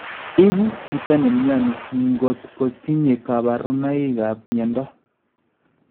Ikun chito ne myani nko ko tinye kabarunikab myondo